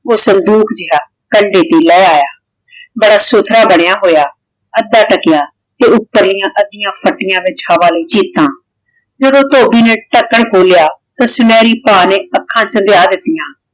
ਊ ਸੰਦੂਕ ਜੇਹਾ ਕੰਡੇ ਤੇ ਲੇ ਆਯਾ ਬੋਹਤ ਸੁਥਰਾ ਬਨਯ ਹੋਯਾ ਆਧਾ ਧਾਕ੍ਯ ਵਿਚ ਹਵਾ ਲਾਗੀ ਤਾਂ ਜਦੋਂ ਧੋਬੀ ਨੇ ਧਾਕਾਂ ਖੋਲ੍ਯਾ ਤੇ ਸੁਨਹਰੀ ਭਾ ਨੇ ਆਖਾਂ ਚੁੰਧ੍ਯ ਦਿਤਿਯਾਂ